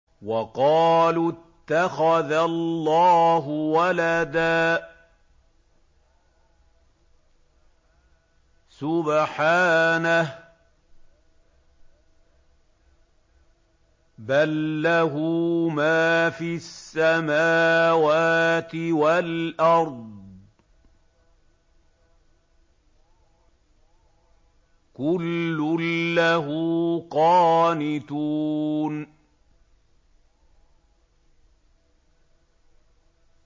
وَقَالُوا اتَّخَذَ اللَّهُ وَلَدًا ۗ سُبْحَانَهُ ۖ بَل لَّهُ مَا فِي السَّمَاوَاتِ وَالْأَرْضِ ۖ كُلٌّ لَّهُ قَانِتُونَ